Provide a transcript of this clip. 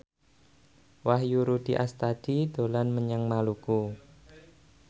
Wahyu Rudi Astadi dolan menyang Maluku